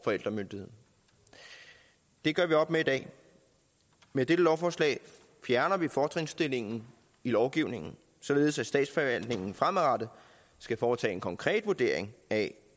forældremyndigheden det gør vi op med i dag med dette lovforslag fjerner vi fortrinsstillingen i lovgivningen således at statsforvaltningen fremadrettet skal foretage en konkret vurdering af